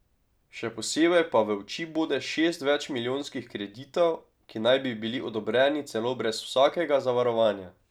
Še posebej pa v oči bode šest več milijonskih kreditov, ki naj bi bili odobreni celo brez vsakega zavarovanja.